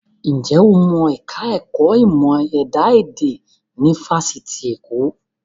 Ǹjẹ́ o mọ ẹ̀ka ẹ̀kọ́ ìmọ̀ ẹ̀dá èdè ní Fáṣitì Èkó?